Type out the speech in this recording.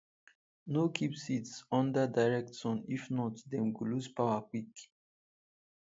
no keep seeds under direct sun if not dem go lose power quick